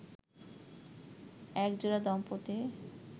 একজোড়া দম্পতি